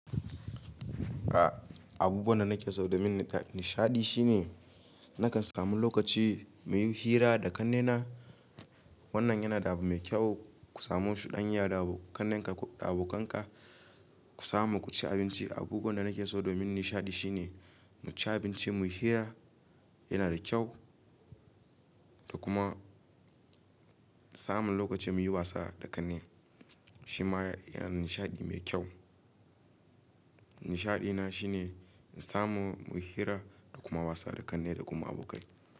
A, abubuwan da nake so domin nishaɗi shine, nakan samu lokaci muyi hira da ƙannena. Wannan yana da abu mai kyau. Ku samo wasu ɗan yara da ƙannenka da abokanka. Ku samu ku ci abinci. Abubuwan da nake so domin nishaɗi shine mu ci abinci, muyi hira, yana da kyau da kuma samun lokaci muyi wasa da ƙanne, shi ma yana nishaɗi mai kyau. Nishaɗina shine mu samu muyi hira da kuma wasa da ƙanne da kuma abokai.